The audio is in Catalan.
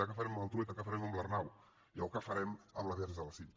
què farem amb el trueta què farem amb l’arnau i què farem amb el verge de la cinta